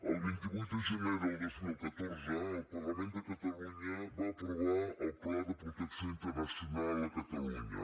el vint vuit de gener del dos mil catorze el parlament de catalunya va aprovar el pla de protecció internacional a catalunya